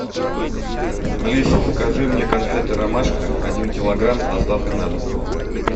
алиса закажи мне конфеты ромашка один килограмм с доставкой на дом